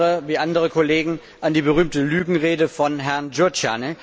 Ich erinnere wie andere Kollegen an die berühmte Lügenrede von Herrn Gyurcsány.